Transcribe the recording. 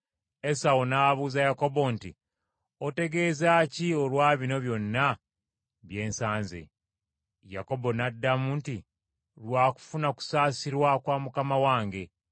Esawu n’abuuza Yakobo nti, “Otegeezaaki olwa bino byonna bye nsanze?” Yakobo n’addamu nti, “Lwa kufuna kusaasirwa kwa mukama wange.”